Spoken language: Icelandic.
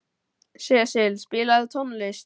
Sesil, spilaðu tónlist.